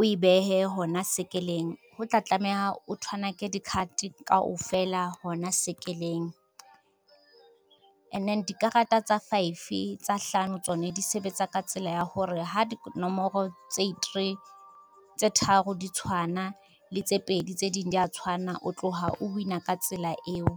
o e behe hona sekeleng, ho tla tlameha o thwanake di-card kaofela hona sekeleng. And then dikarata tsa hlano tsone di sebetsa ka tsela ya hore ha dinomoro tse tharo di tshwana le tse pedi tse ding di a tshwana o tlo ha o wina ka tsela eo.